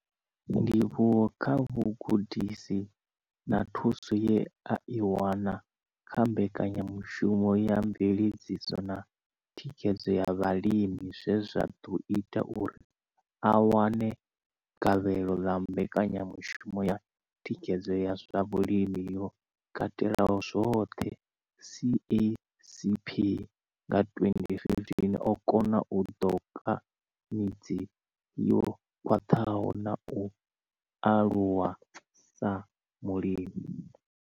Ndivhuwo kha vhugudisi na thuso ye a i wana kha Mbekanya mushumo ya Mveledziso na Thikhedzo ya Vhalimi zwe zwa ḓo ita uri a wane gavhelo ḽa Mbekanya mushumo ya Thikhedzo ya zwa Vhulimi yo Katelaho zwoṱhe, CACP, nga 2015, o kona u ṱoka midzi yo khwaṱhaho na u aluwa sa mulimi.